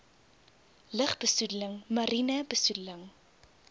lugbesoedeling mariene besoedeling